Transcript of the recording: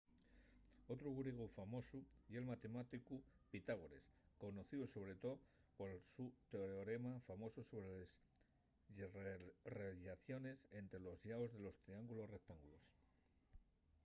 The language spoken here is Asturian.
otru griegu famosu ye’l matemáticu pitágores conocíu sobre too pol so teorema famosu sobre les rellaciones ente los llaos de los triángulos rectángulos